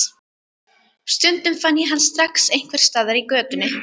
Stundum fann ég hann strax einhvers staðar í götunni.